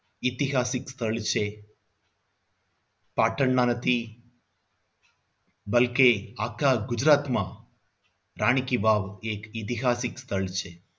ઐતિહાસિક સ્થળ છે પાટણમાં નથી બલ્કે આખા ગુજરાતમાં રાણી કી વાવ એ એક ઐતિહાસિક સ્થળ છે.